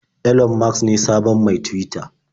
Elon Musk ne sabon mai Tuwita.